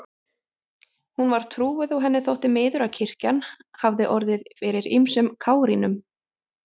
Hún var trúuð og henni þótti miður að kirkjan hafði orðið fyrir ýmsum kárínum.